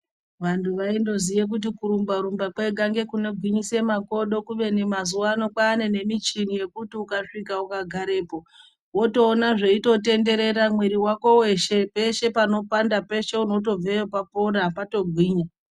Vanthu vaindoziya kuti kurumba rumba kwega ngekunogwinyisa makodo kubeni mazuwa ano kwaane nemichini yekuti ukasvika ukagarepo wotoona zveitotenderera mwiri wako weshe peshe panopanda peshe unotobveyo papora patogwinya.